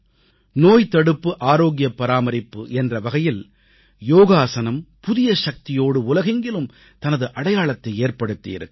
நோய்தடுப்பு ஆரோக்கிய பராமரிப்பு என்ற வகையில் யோகாஸனம் புதிய சக்தியோடு உலகெங்கிலும் தனது அடையாளத்தை ஏற்படுத்தியிருக்கிறது